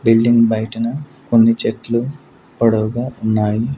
Building బయటన కొన్ని చెట్లు పొడవుగా ఉన్నాయి.